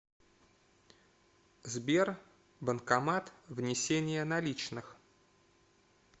сбер банкомат внесение наличных